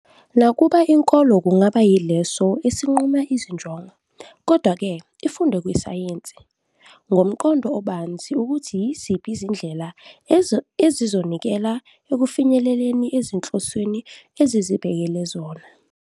Nakuba inkolo kungaba yileso esinquma izinjongo, kodwa-ke, ifunde kwisayensi, ngomqondo obanzi, ukuthi yiziphi izindlela ezizonikela ekufinyeleleni ezinhlosweni ezizibekele zona.